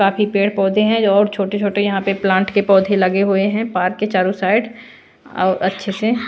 काफी पेड़-पौधे हैं और छोटे-छोटे यहां पे प्लांट के पौधे लगे हुए हैं पार्क के चारों साइड और अच्छे से --